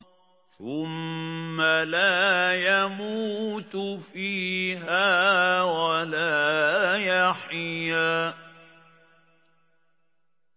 ثُمَّ لَا يَمُوتُ فِيهَا وَلَا يَحْيَىٰ